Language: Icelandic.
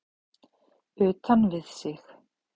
Utan við sig?